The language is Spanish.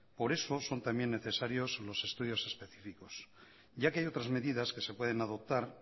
por eso son también necesarios los estudios específicos ya que hay otras medidas que se pueden adoptar